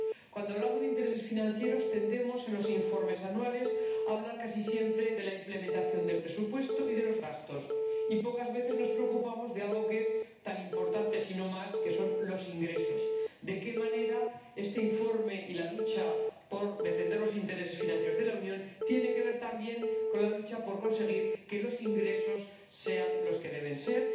Cuando hablamos de intereses financieros, tendemos ―en los informes anuales― a hablar casi siempre de la ejecución del presupuesto y de los gastos y pocas veces nos preocupamos de algo que es tan importante, si no más, que ello como los ingresos de qué manera este informe y la lucha por defender los intereses financieros de la Unión tienen que ver también con la lucha por conseguir que los ingresos sean los que deben ser.